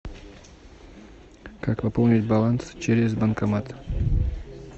как пополнить баланс через банкомат